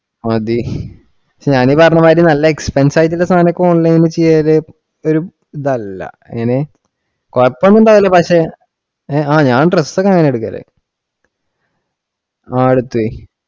മതി ഞാനീ പറഞ്ഞ മാതിരി നല്ല expense ആയിട്ടുള്ള സാധനം ഒക്കെ online ഇൽ ചെയ്യല്, ഒരു ഇതല്ല, എങ്ങിനെ കുഴപ്പം ഒന്നും ഇല്ല പക്ഷെ ആ ഞാൻ dress ഒക്കെ അങ്ങിനെയാ എടുക്കാറ് ആ എടുത്ത്‌